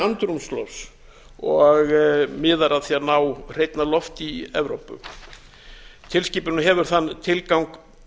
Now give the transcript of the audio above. andrúmslofts og miðar að því að á hreinna lofti í evrópu tilskipunin hefur þann tilgang